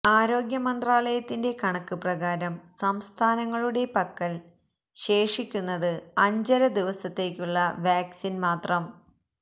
ആരോഗ്യമന്ത്രാലയത്തിന്റെ കണക്ക് പ്രകാരം സംസ്ഥാനങ്ങളുടെ പക്കൽ ശേഷിക്കുന്നത് അഞ്ചര ദിവസത്തേക്കുള്ള വാക്സിന്മാത്രം